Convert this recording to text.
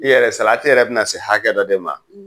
I yɛrɛ salati yɛrɛ bɛ na se hakɛ dɔ de ma;